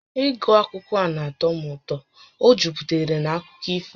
Ịgụ akwụkwọ a na-atọ m ụtọ, ọ juputara na akụkọ ifo